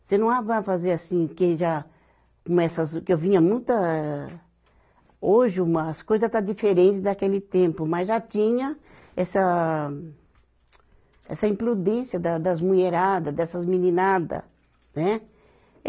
Você não ah vai fazer assim, quem já, como essas, que eu vinha muita, hoje, uma as coisas está diferente daquele tempo, mas já tinha essa, essa imprudência da das mulherada, dessas meninada, né?